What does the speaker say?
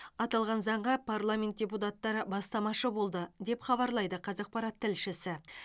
аталған заңға парламент депутаттары бастамашы болды деп хабарлайды қазақпарат тілшісі